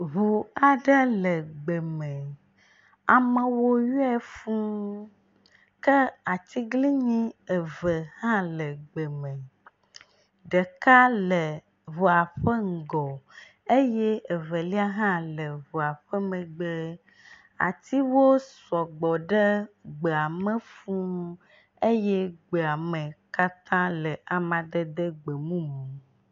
Ŋu aɖe le gbe me, amewo yɔe fuu ke atiglinyi eve hã le gbe me, ɖeka le ŋua ƒe ŋgɔ eye evelia hã le ŋua ƒe megbe. Atiwo sɔgbɔ ɖe gbe ame fuu eye gbea me le amadede gbemumu.